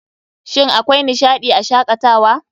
Shin akwai nishaɗii a Shakatawa?